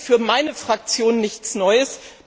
Das ist für meine Fraktion nichts Neues.